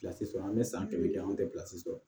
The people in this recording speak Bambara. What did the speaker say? sɔrɔ an bɛ san kɛmɛ kɛ an tɛ pilasi sɔrɔ